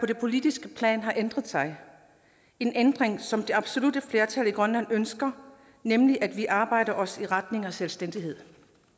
det politiske plan har ændret sig en ændring som det absolutte flertal i grønland ønsker nemlig at vi arbejder os i retning af selvstændighed